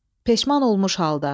Peşman olmuş halda.